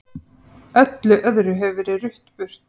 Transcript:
Öllu öðru hefur verið rutt burt.